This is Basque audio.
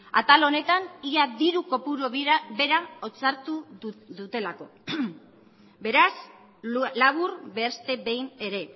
atal honetan ia diru kopuru bera hitzartu dutelako beraz labur beste behin ere